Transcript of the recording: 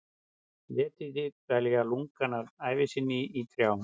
Letidýr dvelja lungann af sinni ævi í trjám.